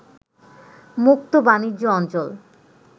মুক্ত বাণিজ্য অঞ্চল